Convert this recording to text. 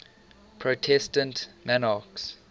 protestant monarchs